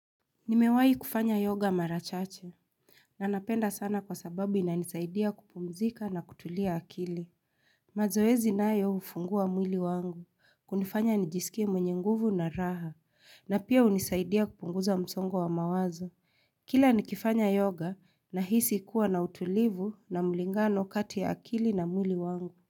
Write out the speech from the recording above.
Nimewahi kufanya yoga marachache. Na napenda sana kwa sababu ina nisaidia kupumzika na kutulia akili. Mazoezi nayo hufungua mwili wangu. Hunifanya nijisikie mwenye nguvu na raha. Na pia hunisaidia kupunguza msongo wa mawazo. Kila nikifanya yoga na hisi kuwa na utulivu na mlingano kati ya akili na mwili wangu.